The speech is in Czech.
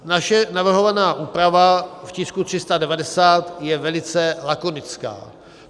Naše navrhovaná úprava v tisku 390 je velice lakonická.